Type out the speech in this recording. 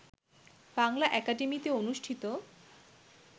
বাংলা একাডেমিতে অনুষ্ঠিত